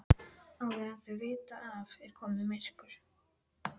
Áður en þau vita af er komið myrkur.